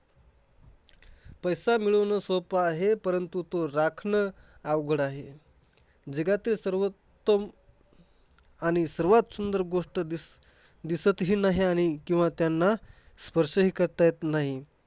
पैसा मिळवणं सोपं आहे. परंतु तो राखणं अवघड आहे. जगातील सर्वोत्तम आणि सर्वात सुंदर गोष्ट दिस दिसत ही नाही किंवा त्यांना स्पर्श हि करता येत नाही.